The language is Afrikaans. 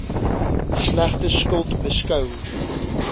slegte skuld beskou